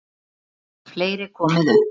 Einnig hefur fleira komið upp.